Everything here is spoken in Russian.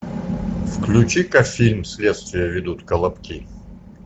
включи ка фильм следствие ведут колобки